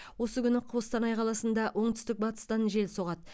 осы күні қостанай қаласында оңтүстік батыстан жел соғады